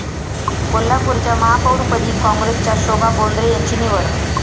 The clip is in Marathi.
कोल्हापूरच्या महापौरपदी काँग्रेसच्या शोभा बोंद्रे यांची निवड